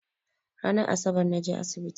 Ranan Asabar naje asibiti